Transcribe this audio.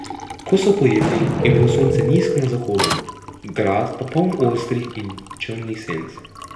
Ko so pojedli, je bilo sonce nizko na zahodu, grad pa poln ostrih in črnih senc.